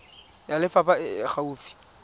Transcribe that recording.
ya lefapha e e gaufi